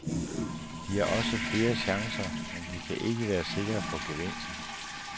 De har også flere chancer, men de kan ikke være sikre på gevinst.